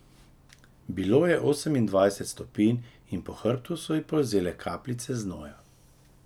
Bilo je osemindvajset stopinj in po hrbtu so ji polzele kapljice znoja.